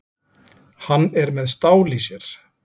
Hann er með stál í sér.